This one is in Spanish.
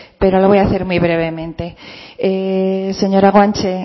bueno lo voy a hacer muy brevemente señora guanche